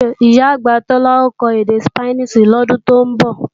Ìyá-àgbà Tọ́lá ó kọ́ èdè Sípáníìṣì lọ́dún tó ń bọ̀